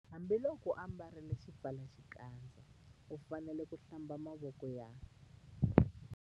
Hambiloko u ambarile xipfalaxikandza u fanele ku- Hlamba mavoko ya.